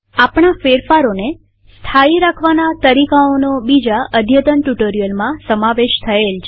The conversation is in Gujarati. આપણા ફેરફારોને સ્થાયી રાખવાના તરીકાઓનો બીજા અદ્યતન ટ્યુટોરીયલમાં સમાવેશ થયેલ છે